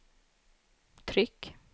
tryck